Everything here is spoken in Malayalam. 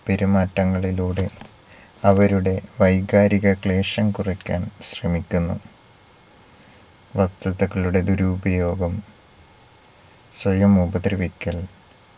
പെരുമാറ്റങ്ങളിലൂടെ അവരുടെ വൈകാരിക ക്ലേശം കുറയ്ക്കാൻ ശ്രമിക്കുന്നു. വസ്തുതകളുടെ ദുരുപയോഗം സ്വയം ഉപദ്രവിക്കൽ